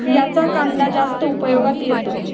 याचा कांदा जास्त उपयोगात येतो.